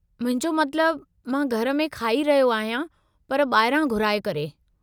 मुंहिंजो मतिलबु, मां घर में खाई रहियो आहियां पर ॿाहिरां घुराए करे।